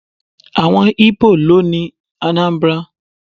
Àwọn Íbò ló ni Anambra.